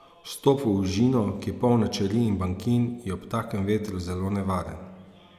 Vstop v ožino, ki je polna čeri in bankin, je ob takem vetru zelo nevaren.